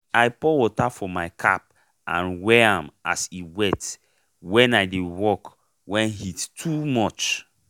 i pour water for my cap and wear am as e wet wen i dey work wen heat too much.